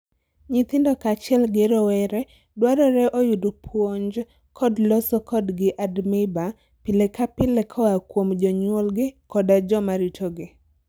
Nyithindo kaachiel gi rowere dwarore oyud puonj kod loso kodgi admiba pile ka pile koa kuom jonyuolgi koda joma ritogi.